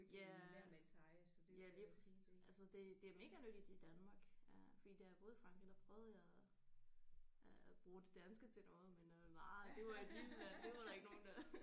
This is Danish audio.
Ja. Ja lige præcis altså det det er mega nyttigt i Danmark øh fordi da jeg boede i Frankrig der prøvede jeg øh at bruge det danske til noget men øh nej det var et lille land det var der ikke nogen der